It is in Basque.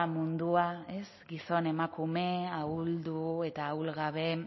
mundua gizon emakume ahuldu eta ahulgabe